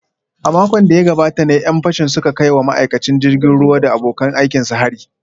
A makon da ya gabata ne ‘yan fashin suka kai wa ma’aikacin jirgin ruwa da abokan aikinsa hari